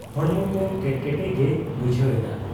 ᱦᱚᱲᱢᱚᱠᱚ ᱠᱮᱴᱠᱮᱴᱮ ᱜᱮᱭ ᱵᱩᱡᱷᱟᱹᱣ ᱮᱫᱟ ᱾